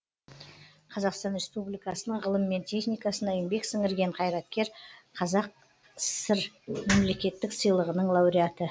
қазақстан республикасының ғылым мен техникасына еңбек сіңірген қайраткер қазсср мемлекеттік сыйлығының лауреаты